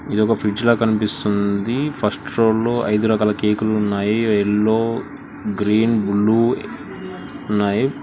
ఇది ఒక ఫ్రిడ్జ్ లో కనిపిస్తుంది ఫస్ట్ రోల్లో ఐదు రకాల కేకులు ఉన్నాయి ఎల్లో గ్రీన్ బ్లూ ఉన్నాయి.